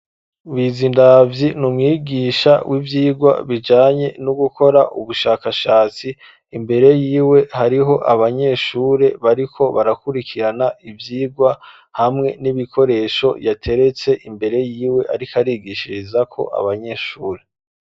Bizindabyi n'umwigisha w'ivyigwa bijanye no gukora ubushakashatsi imbere yiwe hariho abanyeshuri bariko barakurikirana ivyigwa hamwe n'ibikoresho yateretse imbere yiwe ariko arigishiriza ko abanyeshuri.